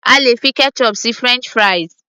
a lè fi ketchup sí french fries